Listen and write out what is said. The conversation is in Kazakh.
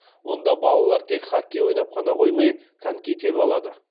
онда балалар тек хоккей ойнап қана қоймай коньки тебе алады